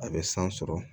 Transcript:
A bɛ san sɔrɔ